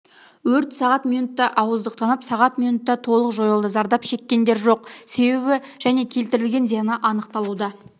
өрт сағат минутта ауыздықтанып сағат минутта толық жойылды зардап шеккендер жоқ себебі және келтірілген зияны анықталуда